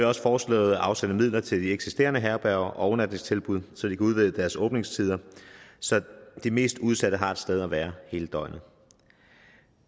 også foreslået at afsætte midler til de eksisterende herberger og overnatningstilbud så de kan udvide deres åbningstider så de mest udsatte har et sted at være hele døgnet